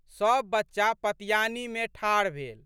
सब बच्चा पतियानीमे ठाढ़ भेल।